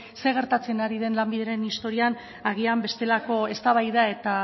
zer gertatzen ari den lanbideren historian agian bestelako eztabaida eta